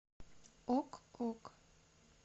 ок ок